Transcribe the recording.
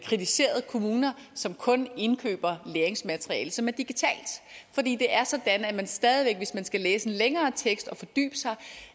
kritiseret kommuner som kun indkøber læringsmateriale som er digitalt fordi det er sådan at man stadig væk hvis man skal læse længere tekst og fordybe sig